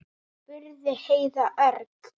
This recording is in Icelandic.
spurði Heiða örg.